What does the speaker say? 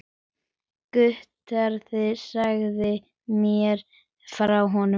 Geturðu sagt mér frá honum?